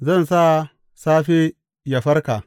Zan sa safe yă farka.